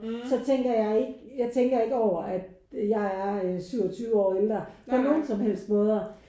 Så tænker jeg ikke jeg tænker ikke over at jeg er øh 27 år ældre på nogen som helst måder